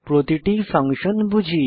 প্রতিটি ফাংশন বুঝি